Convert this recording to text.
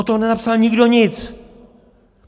O tom nenapsal nikdo nic!